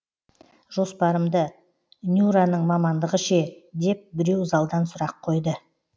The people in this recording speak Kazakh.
жоспарымды нюраның мамандығы ше деп біреу залдан сұрақ қойды